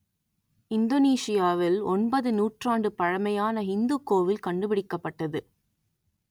இந்தோனேசியாவில் ஒன்பது நூற்றாண்டு பழமையான இந்துக் கோவில் கண்டுபிடிக்கப்பட்டது